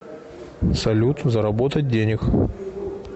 салют заработать денег